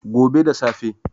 gobe da safe